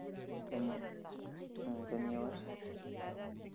ધન્ય હમ ધન્યવાદ